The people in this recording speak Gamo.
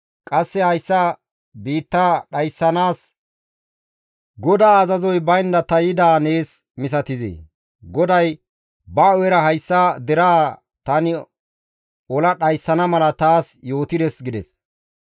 Qasse hayssa biitta dhayssanaas GODAA azazoy baynda ta yidaa nees misatizee? GODAY ba hu7era hayssa deraa tani ola dhayssana mala taas yootides» gides.